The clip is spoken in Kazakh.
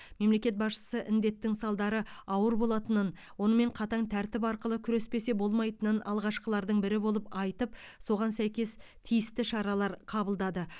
мемлекет басшысы індеттің салдары ауыр болатынын онымен қатаң тәртіп арқылы күреспесе болмайтынын алғашқылардың бірі болып айтып соған сәйкес тиісті шаралар қабылдады